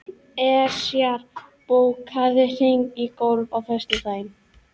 Esjar, bókaðu hring í golf á föstudaginn.